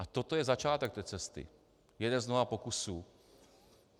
A toto je začátek té cesty, jeden z mnoha pokusů.